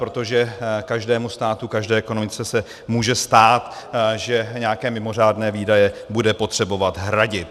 Protože každému státu, každé ekonomice, se může stát, že nějaké mimořádné výdaje bude potřebovat hradit.